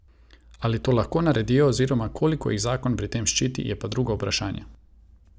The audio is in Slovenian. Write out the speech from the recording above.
Ali to lahko naredijo oziroma koliko jih zakon pri tem ščiti, je pa drugo vprašanje.